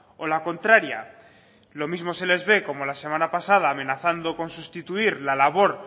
o la contraria lo mismo se les ve como la semana pasada amenazando con sustituir la labor